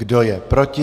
Kdo je proti?